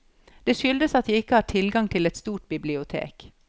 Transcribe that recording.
Det skyldes at jeg ikke har tilgang til et stort bibliotek.